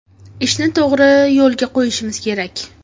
Ishni to‘g‘ri yo‘lga qo‘yishimiz kerak.